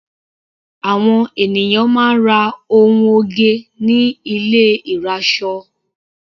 Àwọn ènìyàn máa ń ra ohun oge ní ilé ìrasọ.